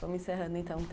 Estamos encerrando, então.